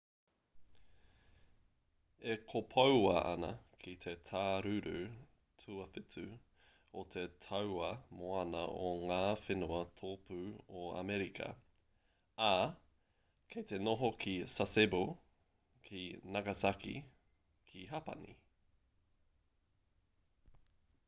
e kopoua ana ki te tāruru tuawhitu o te tauā moana o ngā whenua tōpū o amerika ā kei te noho ki sasebo ki nagasaki ki hapani